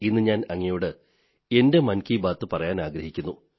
ഇന്നു ഞാൻ അങ്ങയോട് എന്റെ മൻ കീബാത് പറയാനാഗ്രഹിക്കുന്നു